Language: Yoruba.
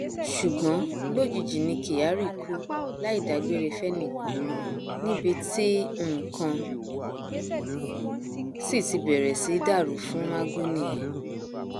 ṣùgbọn lójijì ni kyari kú láì dágbére fẹnìkan níbi tí nǹkan sì ti bẹrẹ sí í dàrú fún magu nìyẹn